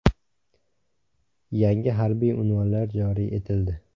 Yangi harbiy unvonlar joriy etildi.